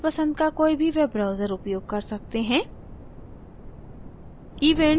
आप अपने पंसद का कोई भी web browser उपयोग कर सकते हैं